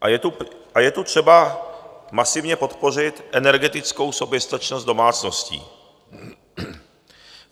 A je tu třeba masivně podpořit energetickou soběstačnost domácností.